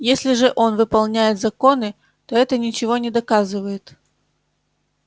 если же он выполняет законы то это ничего не доказывает